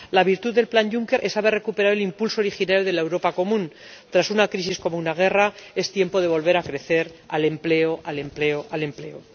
La virtud del Plan Juncker es haber recuperado el impulso original de la Europa común. Tras una crisis como una guerra, es tiempo de volver a crecer al empleo, al empleo, al empleo.